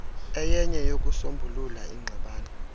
eyenye yokusombulula ingxabano